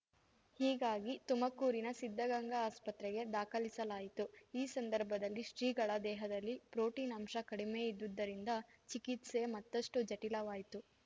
ಹೀಗಾಗಿ ತುಮಕೂರಿನ ಸಿದ್ಧಗಂಗಾ ಆಸ್ಪತ್ರೆಗೆ ದಾಖಲಿಸಲಾಯಿತು ಈ ಸಂದರ್ಭದಲ್ಲಿ ಶ್ರೀಗಳ ದೇಹದಲ್ಲಿ ಪ್ರೊಟೀನ್‌ ಅಂಶ ಕಡಿಮೆ ಇದ್ದುದ್ದರಿಂದ ಚಿಕಿತ್ಸೆ ಮತ್ತಷ್ಟುಜಟಿಲವಾಯ್ತು